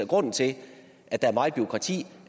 grunden til at der er meget bureaukrati